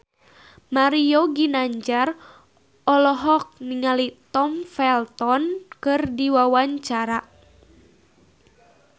Mario Ginanjar olohok ningali Tom Felton keur diwawancara